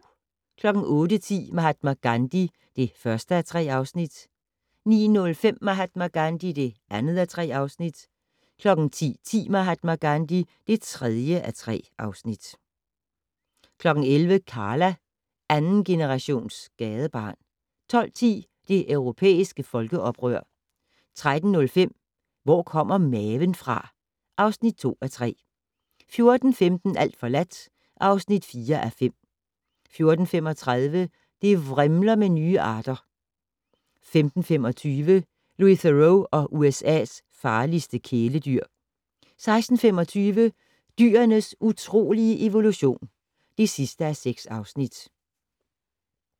08:10: Mahatma Gandhi (1:3) 09:05: Mahatma Gandhi (2:3) 10:10: Mahatma Gandhi (3:3) 11:00: Karla - andengenerations gadebarn 12:10: Det europæiske folkeoprør 13:05: Hvor kommer maven fra? (2:3) 14:15: Alt forladt (4:5) 14:35: Det vrimler med nye arter 15:25: Louis Theroux og USA's farligste kæledyr 16:25: Dyrenes utrolige evolution (6:6)